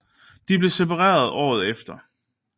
De blev separeret efter et år